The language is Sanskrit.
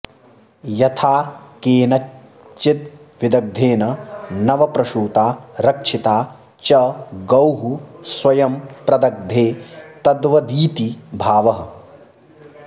यथा केनचिद्विदग्धेन नवप्रसूता रक्षिता च गौः स्वयं प्रदग्धे तद्वदिति भावः